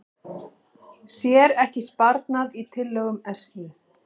Sér ekki sparnað í tillögum SÍ